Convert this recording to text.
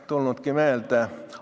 Mul ei tule meelde.